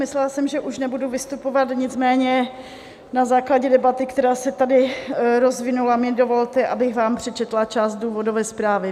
Myslela jsem, že už nebudu vystupovat, nicméně na základě debaty, která se tady rozvinula, mi dovolte, abych vám přečetla část důvodové zprávy.